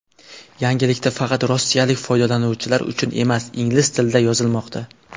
Yangiliklar faqat rossiyalik foydalanuvchilar uchun emas ingliz tilida yozilmoqda.